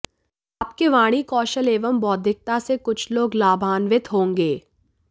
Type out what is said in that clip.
आपके वाणी कौशल एवं बौद्धिकता से कुछ लोग लाभान्वित होंगे